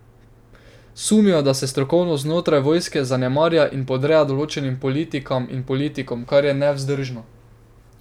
Sumijo, da se strokovnost znotraj vojske zanemarja in podreja določenim politikam in politikom, kar je nevzdržno.